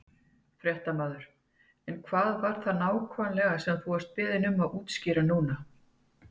Fréttamaður: En hvað var það nákvæmlega sem þú vart beðinn um að útskýra núna?